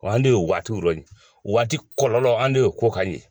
an de ye o waatiw yɔ nin o waati kɔlɔlɔ an ne ye o ko kan ye.